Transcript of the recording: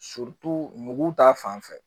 mugu ta fanfɛ